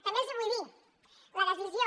també els vull dir la decisió